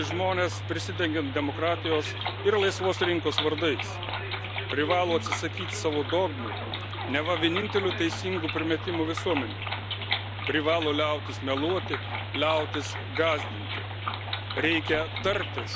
Politikai privalo nustoti engti žmones, prisidengiant demokratijos ir laisvos rinkos vardais, privalo atsisakyti savo dogmų, neva vienintelių teisingų primetimų visuomenei, privalo liautis meluoti, liautis gąsdinti.